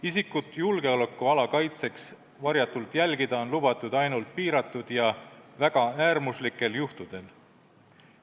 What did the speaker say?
Isikut julgeolekuala kaitseks varjatult jälgida on lubatud ainult piiratud ja väga äärmuslikel juhtudel.